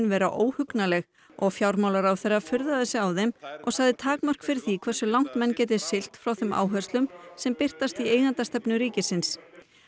vera óhugnanleg og fjármálaráðherra furðaði sig á þeim og sagði takmörk fyrir því hversu langt menn geti siglt frá þeim áherslum sem birtast í eigendastefnu ríkisins